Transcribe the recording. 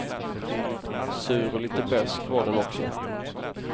Sur och lite besk var den också.